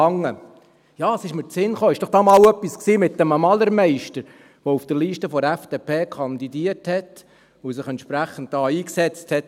Ja, es ist mir eingefallen, dass doch da einmal etwas war mit einem Malermeister, der auf der Liste der FDP kandidierte und sich hier, genau für dieses Thema, entsprechend eingesetzt hat.